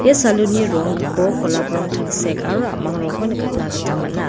ia salon-ni rong gipok golap rong tangsek aro a·mang rongko nikatna gita man·a.